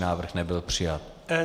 Návrh nebyl přijat.